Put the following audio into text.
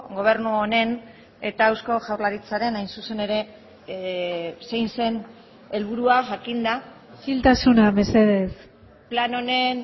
gobernu honen eta eusko jaurlaritzaren hain zuzen ere zein zen helburua jakinda isiltasuna mesedez plan honen